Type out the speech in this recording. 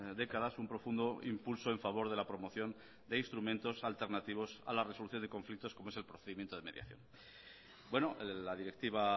décadas un profundo impulso en favor de la promoción de instrumentos alternativos a la resolución de conflictos como es el procedimiento de mediación la directiva